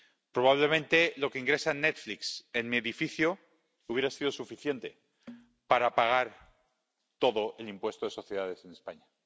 probablemente lo que ingresa Netflix en mi edificio hubiera sido suficiente para pagar todo el impuesto de sociedades en España.